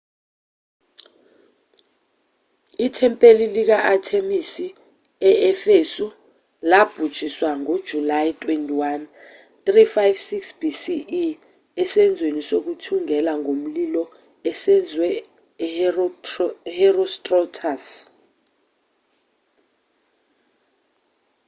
ithempeli lika-athemisi e-efesu labhujiswa ngojulayi 21 356 bce esenzweni sokuthungela ngomlilo esenzwe u-herostratus